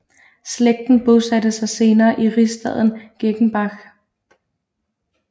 Slægten bosatte sig senere i rigsstaden Gengenbach